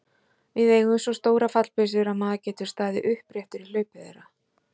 Við eigum svo stórar fallbyssur að maður getur staðið uppréttur í hlaupi þeirra.